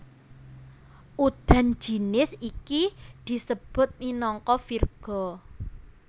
Udan jinis iki disebut minangka virga